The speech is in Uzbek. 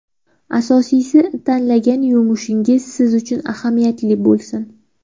Asosiysi, tanlagan yumushingiz siz uchun ahamiyatli bo‘lsin.